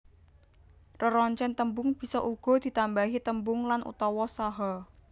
Reroncèn tembung bisa uga ditambahi tembung lan utawa saha